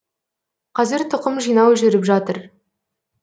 қазір тұқым жинау жүріп жатыр